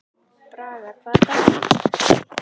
Braga, hvaða dagur er í dag?